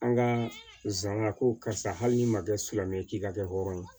An ka zana ko karisa hali n'i ma kɛ silamɛ ye k'i ka kɛ hɔrɔn ye